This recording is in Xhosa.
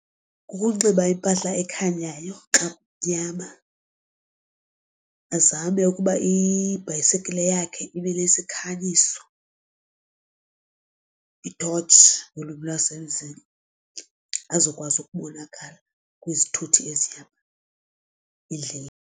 Kukunxiba impahla ekhanyayo xa kunyama azame ukuba ibhayisekile yakhe ibe nesikhanyisi, iithotshi ngolwimi lwasemzini azokwazi ukubonakala kwizithuthi ezihamba endleleni.